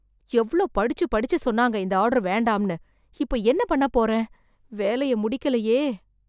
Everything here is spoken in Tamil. எவ்வளோ படுச்சு படுச்சு சொன்னாங்க இந்த ஆர்டர் வேண்டாம்னு. இப்போ என்ன பண்ண போறேன். வேலைய முடிக்கலையே